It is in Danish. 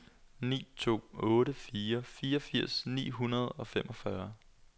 ni to otte fire fireogfirs ni hundrede og femogfyrre